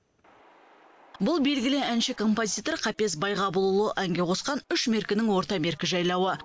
бұл белгілі әнші композитор қапез байғабылұлы әнге қосқан үш меркінің орта меркі жайлауы